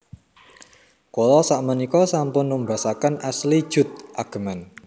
Kula sakmenika sampun numbasaken Ashley Judd ageman